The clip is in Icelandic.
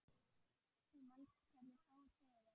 Þú manst hvernig fór fyrir